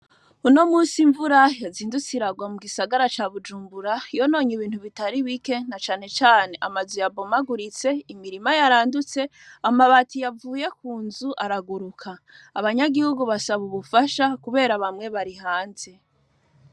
Unomusi imvura yazindutse iragwa mugisagara ca bujumbura yononye ibintu bitari bike nacanecane amazu yabomaguritse, imirima yarandutse, amabati yavuye kunzu araguruka. Abanyagihugu basasaubufasha kubera bamwe bari hanze.